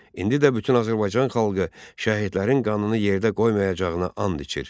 İndi də bütün Azərbaycan xalqı şəhidlərin qanını yerdə qoymayacağına and içir.